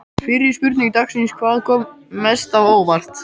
Fyrri spurning dagsins er: Hvað kom mest á óvart?